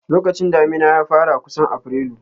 Lokacin damina ya fara kusan Afrilu.